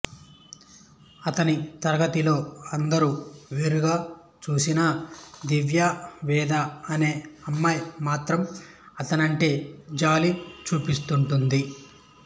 అతని తరగతిలో అందరూ వేరుగా చూసినా దివ్య వేద అనే అమ్మాయి మాత్రం అతనంటే జాలి చూపిస్తుంటుంది